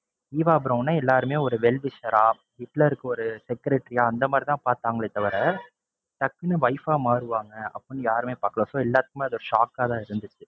Eva பிரௌனை எல்லாருமே ஒரு well wisher ஆ ஹிட்லருக்கு ஒரு secretary யா அந்த மாதிரி தான் பாத்தாங்களே தவிர டக்குன்னு wife ஆ மாறுவாங்க அப்படின்னு யாருமே பாக்கல. so எல்லாருக்குமே அது ஒரு shock ஆ தான் இருந்துச்சு.